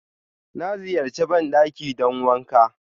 Na ziyarche bandakin don wanƙa